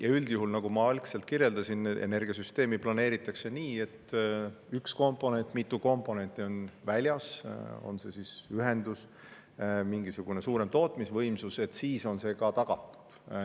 Ja üldjuhul, nagu ma alguses kirjeldasin, energiasüsteemi planeeritakse nii, et ka siis, kui üks komponent või mitu komponenti on väljas, on see siis ühendus või mingisugune suurem tootmisvõimsus, on varustus ikka tagatud.